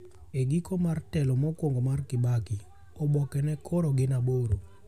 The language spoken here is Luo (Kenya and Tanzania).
Egiko mar telo mokuongo mar Kibaki, oboke ne koro gin aboro.